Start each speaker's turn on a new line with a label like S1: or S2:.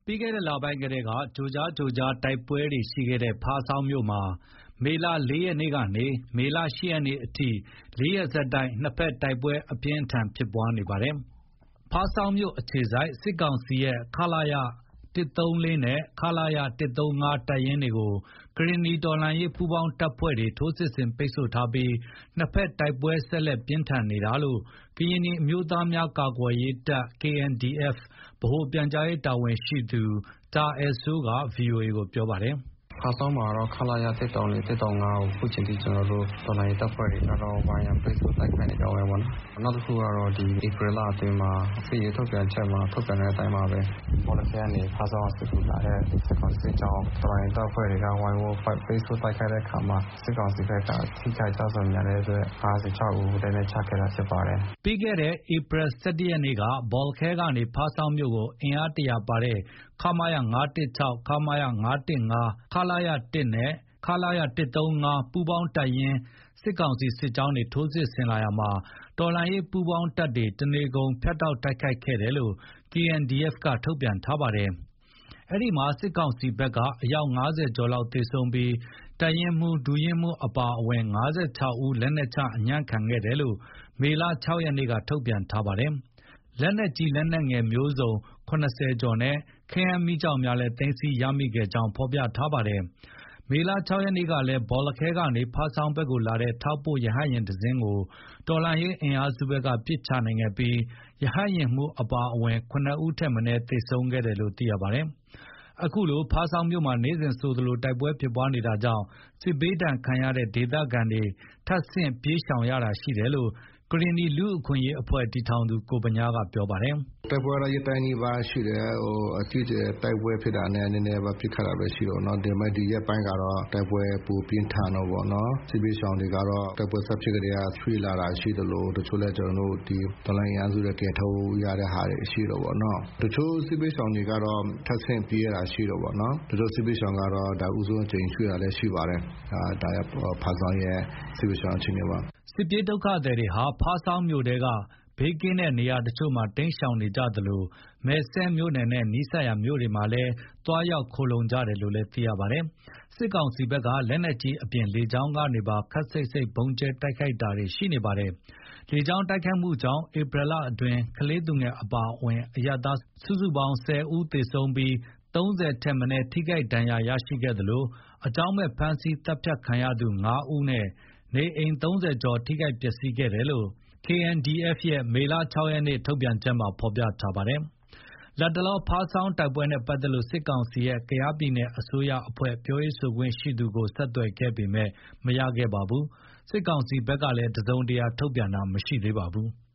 S1: ပြီးခဲ့တဲ့လပိုင်းကတည်းက ကြိုကြားကြိုကြား တိုက်ပွဲတွေရှိခဲ့တဲ့ ဖားဆောင်းမြို့မှာ မေလ ၄ ရက်ကနေ ၈ ရက်နေ့အထိ ၄ ရက်ဆက်တိုက် နှစ်ဖက်တိုက်ပွဲအပြင်းအထန်ဖြစ်ပွားလာနေပါတယ်။ ဖားဆောင်းမြို့အခြေစိုက် စစ်ကောင်စီရဲ့ ခလရ ၁၃၄ နဲ့ ခလရ ၁၃၅ တပ်ရင်းကို ကရင်နီတော်လှန်ရေးပူးပေါင်းတပ်တွေ ထိုးစစ်ဆင်ပိတ်ဆို့ထားပြီး နှစ်ဖက်တိုက်ပွဲ ဆက်လက် ပြင်းထန်နေကြောင်း ကရင်နီအမျိုးသားများကာကွယ်ရေးတပ်(KNDF) ဗဟိုပြန်ကြားရေး တာဝန်ရှိသူ တာအယ်စိုးက ဗွီအိုအေကို ပြောပါတယ်။ “ဖားဆောင်းမှာကတော့ ခလရ ၁၃၄၊ ၁၃
S2: ၅ ကို အခုချိန်ထိ ကျနော်တို့ တော်လှန်ရေး တပ်ဖွဲ့တွေကတော့ ဝိုင်းရံပိတ်ဆို့ တိုက်ခိုက်နေတာဖြစ်ပါတယ်။ နှစ်ဖက်တိုက်ပွဲတွေကလည်း ဒီနေ့အထိဖြစ်ပွားနေတုန်းပဲပေါ့နော်။ နောက်တခုကတော့ ဒီဧပြီလအတွင်းမှာ စစ်ရေးထုတ်ပြန်ချက်မှာ ထုတ်ပြန်တဲ့အတိုင်းပါပဲ၊ ဘောလခဲကနေ ဖားဆောင်းကို စစ်ကူလာတဲ့ စစ်ကောင်စီစစ်ကြောင်းကို တော်လှန်ရေးတပ်ဖွဲ့တွေက ဝိုင်းဝန်းပိတ်ဆို့တိုက်ခိုက်တဲ့အခါမှာ စစ်ကောင်စီဖက်က ထိခိုက်နစ်နာ ကျဆုံးများတဲ့အတွက် ၅၆ ဦး လက်နက်ချခဲ့တာဖြစ်ပါတယ်။”
S1: ပြီးခဲ့တဲ့ ဧပြီ ၁၁ ရက်နေ့က ဘော်လခဲကနေ ဖားဆောင်းမြို့ကို အင်အား ၁၀၀ ပါဝင်တဲ့ ခမရ ၅၁၆၊ ခမရ ၅၁၅၊ ခလရ ၁နဲ့ ခလရ ၁၃၅ စတဲ့ စစ်ကောင်စီရဲ့ပူးပေါင်းတပ်ရင်း စစ်ကြောင်းတွေ ထိုးစစ်ဆင်လာတာကြောင့် တော်လှန်ရေးပူးပေါင်းတပ်တွေက တနေကုန် ဖြတ်တောက်တိုက်ခိုက်ခဲ့တယ်လို့ KNDF က ထုတ်ပြန်ထားပါတယ်။ အဲဒီမှာ စစ်ကောင်စီဘက်က အယောက် ၅၀ ကျော် သေဆုံးပြီး တပ်ရင်းမှူး၊ ဒုတပ်ရင်းမှူးအပါအဝင် ၅၆ ဦး လက်နက်ကျအညံ့ခံခဲ့တယ်လို့ မေလ ၆ ရက်နေ့က ထုတ်ပြန်ထားတာပါ။ လက်နက်ကြီး၊ လက်နက်ငယ်က အစုံ ၇၀ ကျော်နဲ့ ခဲယမ်းပစ္စည်းများ သိမ်းဆည်းရရှိခဲ့ကြောင်းလည်း ဖော်ပြထားပါတယ်။ မေလ ၆ ရက်နေ့ကလည်း ဘော်လခဲကနေ ဖားဆောင်းဘက်ကိုလာတဲ့ ထောက်ပို့ရဟတ်ယာဉ်တစင်းကို တော်လှန်ရေးအင်အားစုဘက်က ပစ်ချနိုင်ခဲ့ပြီး ရဟတ်ယာဉ်မှူးအပါအဝင် ၇ ဦးထက်မနည်း သေဆုံးခဲ့တယ်လို့ သိရပါတယ်။ အခုလို ဖားဆောင်းမြို့မှာ နေ့စဉ်ဆိုသလို တိုက်ပွဲဖြစ်ပွားနေတာကြောင့် စစ်ဘေးဒဏ်ခံရတဲ့ ဒေသခံတွေ ထပ်ဆင့်ပြေးရှောင်ရတာရှိတယ်လို့ ကရင်နီလူ့အခွင့်အရေး တည်ထောင်သူ ကိုဗညားက ပြောပါတယ်။
S3: “တိုက်ပွဲကတော့ ရက်တိုင်းနီးပါးရှိတယ်။ အကြီးအကျယ်တိုက်ပွဲဖြစ်တာနဲ့ နည်းနည်းပါးပါးပစ်ခတ်တာပဲရှိတာပေါ့နော်။ ဒါပေမယ့် ဒီရက်ပိုင်းကတော့ တိုက်ပွဲပိုပြင်းထန်တာပေါ့နော်။ စစ်ဘေးရှောင်တွေကတော့ တိုက်ပွဲစဖြစ်ကတည်းက ရွှေ့လာတာရှိသလို တချို့လည်း ကျနော်တို့ ဒီတော်လှန်ရေးအင်အားစုကယ်ထုတ်ရတဲ့ဟာတွေ ရှိတာပေါ့နော်။ တချို့စစ်ဘေးရှောင်ကတော့ ထပ်ဆင့်ပြေးရတာရှိတာပေ့ါနော်။ ဒါကြောင့် စစ်ဘေးရှောင်ကတော့ ဒါဦးဆုံးအကြိမ် ရွှေ့တာလည်း ရှိပါတယ်၊ ဒါ ဖားဆောင်းရဲ့ စစ်ဘေးရှောင်အခြေအနေပါ။”
S1: စစ်ပြေးဒုက္ခသည်တွေဟာ ဖားဆောင်းမြို့နယ်ထဲ ဘေးကင်းတဲ့ နေရာတချို့မှာ တိမ်းရှောင်နေကြသလို မယ်စဲ့မြို့နယ်နဲ့နီးစပ်ရာ မြို့ရွာတွေဆီ သွားရောက်ခိုလှုံကြတယ်လို့လည်း သိရပါတယ်။ စစ်ကောင်စီဘက်က လက်နက်ကြီးအပြင် လေကြောင်းကနေလည်း ခပ်စိတ်စိတ် ဗုံးကြဲတိုက်ခိုက်တာတွေရှိနေပါတယ်။ လေကြောင်းတိုက်ခိုက်မှုကြောင့် ဧပြီလအတွင်း ကလေးသူငယ်အပါအဝင် အရပ်သား စုစုပေါင်း ၁၀ ဦး သေဆုံး၊ ၃၀ ထက်မနည်း ထိခိုက်ဒဏ်ရာရရှိခဲ့သလို အကြောင်းမဲ့ ဖမ်းဆီးသတ်ဖြတ်ခံရသူ ၅ ဦးနဲ့ နေအိမ် ၃၀ ကျော် ထိခိုက်ပျက်စီးခဲ့တယ်လို့ KNDF ရဲ့ မေလ ၆ ရက် ထုတ်ပြန်ချက်ထားဖော်ပြထားပါတယ်။ လတ်တလော ဖားဆောင်းတိုက်ပွဲနဲ့ပတ်သက်လို့ စစ်ကောင်စီရဲ့ ကယားပြည်နယ် အစိုးရအဖွဲ့ ပြောရေးဆိုခွင့်ရှိသူကို ဆက်သွယ်ခဲ့ပေမယ့် မရခဲ့ပါဘူး။ စစ်ကောင်စီဘက်ကလည်း တစုံတရာ ထုတ်ပြန်တာ မရှိသေးပါဘူး။